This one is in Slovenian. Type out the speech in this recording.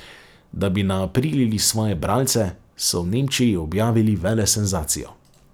Da bi naaprilili svoje bralce, so v Nemčiji objavili velesenzacijo.